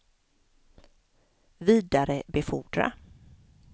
vidarebefordra